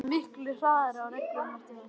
Þeir eru miklu harðari á reglunum eftir að